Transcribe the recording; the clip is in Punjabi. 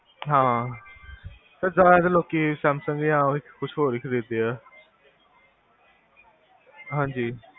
ਹਾਂ ਏਦਾ ਆ ਲੋਕੀ ਦਾ ਕੁਛ ਹੋਰ ਹੀ ਖਰੀਦਦੇ ਆ ਹਾਂਜੀ